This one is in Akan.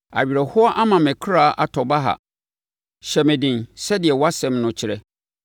Awerɛhoɔ ama me ɔkra atɔ baha; hyɛ me den sɛdeɛ wʼasɛm no kyerɛ.